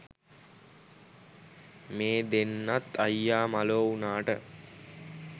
මේ දෙන්නත් අයියා මලෝ වුණාට